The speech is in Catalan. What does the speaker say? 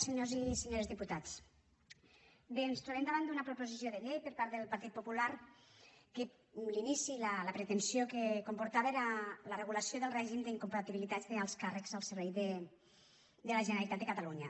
senyors i senyores diputats bé ens trobem davant d’una proposició de llei per part del partit popular que l’inici la pretensió que comportava era la regulació del règim d’incompatibilitats d’alts càrrecs al servei de la generalitat de catalunya